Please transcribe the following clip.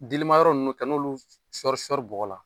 Delima yɔrɔ ninnu ka n'olu sɔri sɔri bɔgɔ la